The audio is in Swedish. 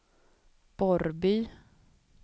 Borrby